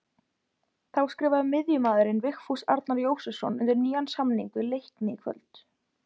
Þá skrifaði miðjumaðurinn Vigfús Arnar Jósepsson undir nýjan samning við Leikni í kvöld.